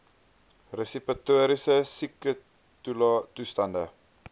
respiratoriese siektetoe stande